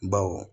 Baw